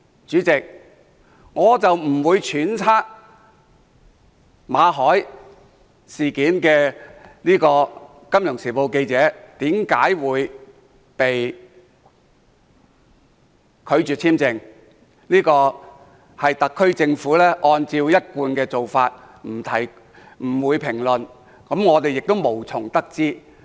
主席，我不會揣測《金融時報》記者馬凱為何會被拒簽證，這是特區政府的一貫做法，不會評論，我們也無從得知。